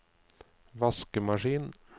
vaskemaskin